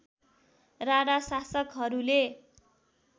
राणा शासकहरूले